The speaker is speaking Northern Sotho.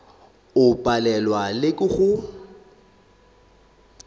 o palelwa le ke go